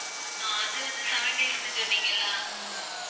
அஹ் அது வந்து seven days க்கு சொன்னீங்க இல்லை